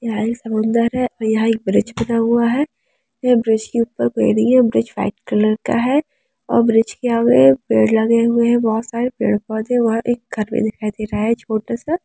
यहाँ एक समुंदर है यहाँ एक ब्रिज बना हुआ है यह ब्रिज के ऊपर कोई नहीं है ब्रिज वाइट कलर का है और ब्रिज के आगे पेड़ लगे हुए है बहुत सारे पेड़-पौधे वहाँ एक घर भी दिखाई दे रहा है छोटा सा।